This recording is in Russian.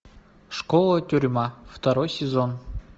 школа тюрьма второй сезон